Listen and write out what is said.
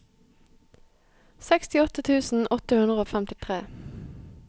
sekstiåtte tusen åtte hundre og femtitre